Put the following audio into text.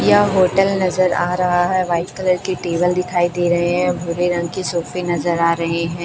यह होटल नजर आ रहा है वाइट कलर के टेबल दिखाई दे रहे हैं भूरे रंग के सोफे नजर आ रहे हैं।